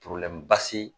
basi